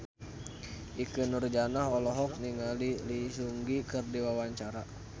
Ikke Nurjanah olohok ningali Lee Seung Gi keur diwawancara